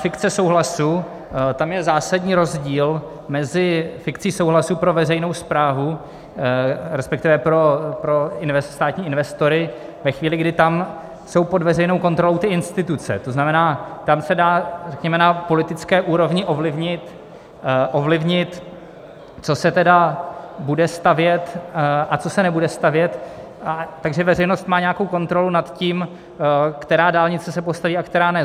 Fikce souhlasu - tam je zásadní rozdíl mezi fikcí souhlasu pro veřejnou správu, respektive pro státní investory ve chvíli, kdy tam jsou pod veřejnou kontrolou ty instituce, to znamená, tam se dá, řekněme, na politické úrovni ovlivnit, co se tedy bude stavět a co se nebude stavět, takže veřejnost má nějakou kontrolu nad tím, která dálnice se postaví a která ne.